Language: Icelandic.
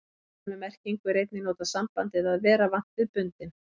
Í sömu merkingu er einnig notað sambandið að vera vant við bundinn.